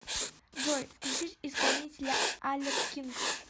джой включить исполнителя алек кинг